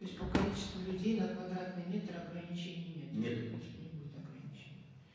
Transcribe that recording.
то есть по количеству людей на квадратный метр ограничений нет нету ограничений и не будет ограничений